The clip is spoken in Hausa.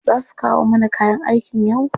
Za su kawo mana kayan aikin yau?